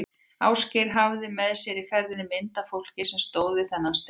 Ásgeir hafði með sér í ferðinni mynd af fólki sem stóð við þennan stein.